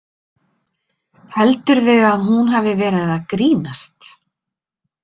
Heldurðu að hún hafi verið að grínast?